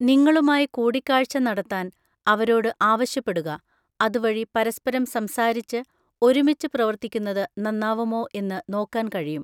നിങ്ങളുമായി കൂടിക്കാഴ്ച നടത്താൻ അവരോട് ആവശ്യപ്പെടുക, അതുവഴി പരസ്പരം സംസാരിച്ച് ഒരുമിച്ച് പ്രവർത്തിക്കുന്നത് നന്നാവുമോ എന്ന് നോക്കാൻ കഴിയും.